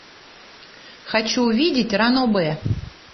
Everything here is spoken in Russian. хочу увидеть ранобэ